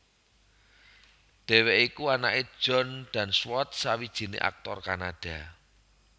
Dhèwèké iku anaké John Dunsworth sawijiné aktor Kanada